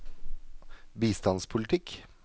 bistandspolitikk